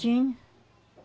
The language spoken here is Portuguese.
Tinha.